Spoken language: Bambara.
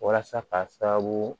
Walasa k'a sababu